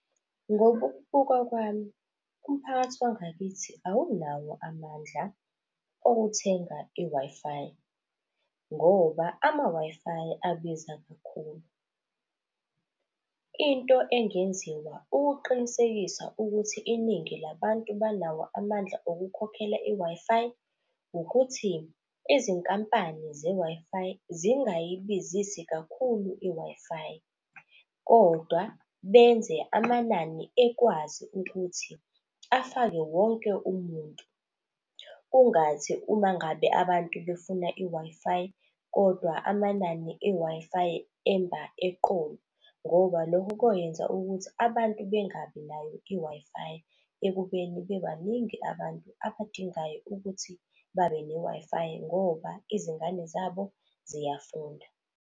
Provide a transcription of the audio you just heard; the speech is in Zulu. Ngokubuka kwami, umphakathi wangakithi awunawo amandla okuthenga i-Wi-Fi ngoba ama-Wi-Fi abiza kakhulu. Into engenziwa ukuqinisekisa ukuthi iningi labantu banawo amandla okukhokhela i-Wi-Fi, ukuthi izinkampani ze-Wi-Fi zingayibizisi kakhulu i-Wi-Fi kodwa benze amanani ekwazi ukuthi afake wonke umuntu. Kungathi uma ngabe abantu befuna i-Wi-Fi kodwa amanani e-Wi-Fi emba eqolo ngoba lokho koyenza ukuthi abantu bengabi nayo i-Wi-Fi ekubeni bebaningi abantu abadingayo ukuthi babe ne-Wi-Fi ngoba izingane zabo ziyafunda.